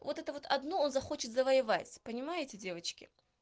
вот эту вот одну он захочет завоевать понимаете девочки